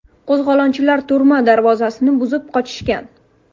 Qo‘zg‘olonchilar turma darvozalarini buzib qochishgan.